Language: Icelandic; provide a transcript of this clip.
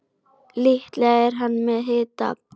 Líklega er hann með hita.